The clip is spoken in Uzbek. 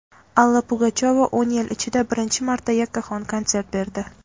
Alla Pugachyova o‘n yil ichida birinchi marta yakkaxon konsert berdi.